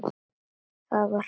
Það var kalt.